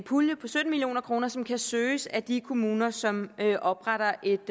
pulje på sytten million kr som kan søges af de kommuner som opretter et